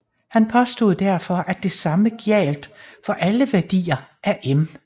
Han påstod derfor at det samme gjaldt for alle værdier af m